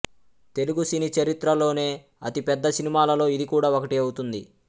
తెలుగు సినీ చరిత్రలోనే అతి పెద్ద సినిమాలలో ఇది కూడా ఒకటి అవుతుంది